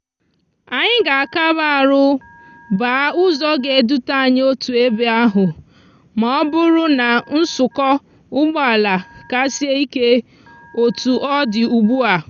anyi ga akaba arú gbaa úzò ga edute anyi otu ebe ahú ma òbúrú na nsúkó úgbòala ka sie ike otu òdi ugbua.